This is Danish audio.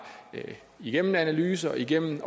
igennem analyser og igennem